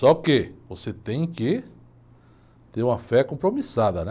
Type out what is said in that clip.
Só que você tem que ter uma fé compromissada, né?